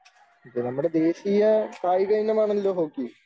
നമ്മുടെ ദേശീയ കായിക ഇനമാണല്ലോ ഹോക്കി.